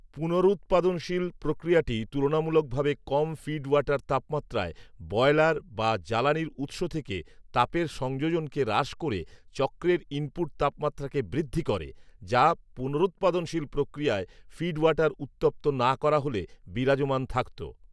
পুনরূৎপাদনশীল প্রক্রিয়াটি তুলনামূলকভাবে কম ফিড ওয়াটার তাপমাত্রায় বয়লার বা জ্বালানীর উৎস থেকে তাপের সংযোজনকে হ্রাস করে চক্রের ইনপুট তাপমাত্রাকে বৃদ্ধি করে যা পুনরূৎপাদনশীল প্রক্রিয়ায় ফিডওয়াটার উত্তপ্ত না করা হলে বিরাজমান থাকতো